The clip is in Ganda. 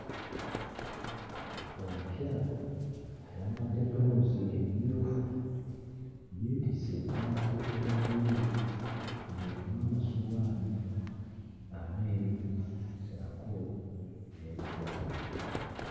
Omukyala ayambadde bbulawuzi emmyufu yeetisse ebbaafu eya bbulu, ng'erimu amasowaani ameeru ssaako n'ebikopo.